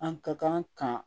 An ka kan ka